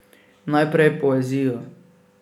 Najprej poezijo.